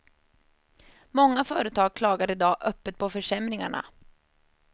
Många företag klagar i dag öppet på försämringarna.